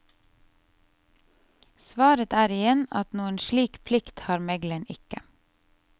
Svaret er igjen at noen slik plikt har megleren ikke.